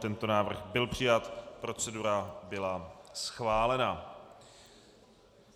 Tento návrh byl přijat, procedura byla schválena.